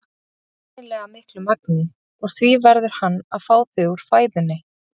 ekki í nægilega miklu magni og því verður hann að fá þau úr fæðunni.